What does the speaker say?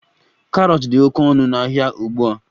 Karọt dị oke ọnụ n'ahịa ugbu a